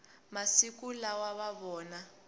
masiku lawa va vona